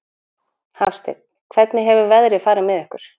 Hafsteinn: Hvernig hefur veðrið farið með ykkur?